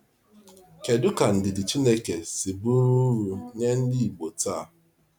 Kedu ka ndidi Chineke si bụrụ uru nye ndị Ìgbò taa?